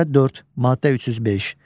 Nömrə 4, maddə 305.